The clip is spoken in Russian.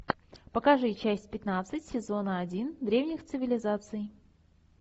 покажи часть пятнадцать сезона один древних цивилизаций